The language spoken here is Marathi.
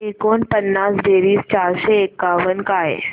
एकोणपन्नास बेरीज चारशे एकावन्न काय